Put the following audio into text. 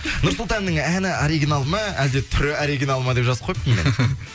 нұрсұлтанның әні оригинал ма әлде түрі оригинал ма деп жазып қойыпты